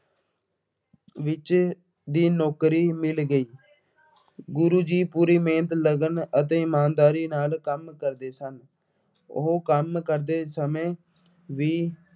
ਵਿੱਚ ਦੀ ਨੌਕਰੀ ਮਿਲ ਗਈ। ਗੁਰੂ ਜੀ ਪੂਰੀ ਮਿਹਨਤ, ਲਗਨ ਅਤੇ ਇਮਾਨਦਾਰੀ ਨਾਲ ਕੰਮ ਕਰਦੇ ਸਨ। ਉਹ ਕੰਮ ਕਰਦੇ ਸਮੇਂ ਵੀ